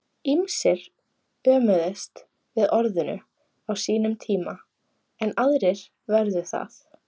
Ýmsir ömuðust við orðinu á sínum tíma en aðrir vörðu það.